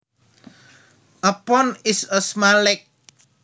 A pond is a small lake